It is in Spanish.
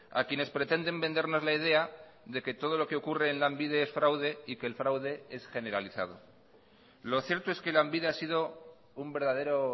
a quienes pretenden vendernos la idea de que todo lo que ocurre en lanbide es fraude y que el fraude es generalizado lo cierto es que lanbide ha sido un verdadero